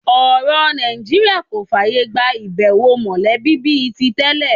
Ọ̀rọ̀ Nàìjíríà kò fààyà gba ìbẹ̀wò mọ̀lẹ́bí bí i tí tẹ́lẹ̀